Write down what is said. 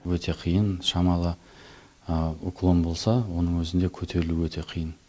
өте қиын шамалы уклон болса оның өзінде көтерілу өте қиын